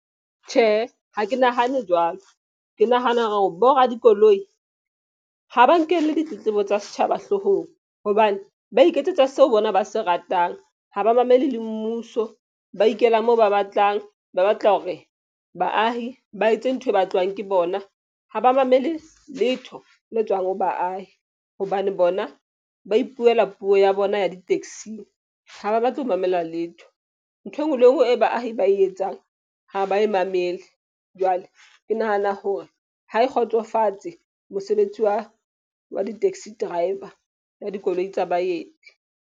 Tjhe, ha ke nahane jwalo. Ke nahana hore bo radikoloi ha ba nkele ditletlebo tsa setjhaba hloohong. Hobane ba iketsetsa seo bona ba se ratang, ha ba mamele le mmuso ba ikela moo ba batlang ba batla hore baahi ba etse ntho e batluwang ke bona, ha ba mamele letho le tswang ho baahi. Hobane bona ba ipuela puo ya bona ya di-taxi-ng. Ha ba batle ho mamela letho. Ntho enngwe le enngwe e baahi ba e etsang ha ba e mamele. Jwale ke nahana hore ha e kgotsofatse mosebetsi wa di-taxi driver ya dikoloi tsa baeti.